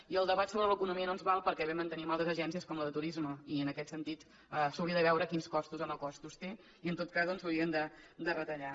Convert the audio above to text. i el debat sobre l’economia no ens val perquè bé mantenim altres agències com la de turisme i en aquest sentit s’hauria de veure quins costos o no costos té i en tot cas doncs s’haurien de retallar